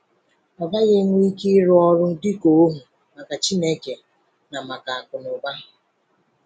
Ị gaghị enwe ike ịrụ ọrụ dịka ohu maka Chineke na maka Akụnaụba.”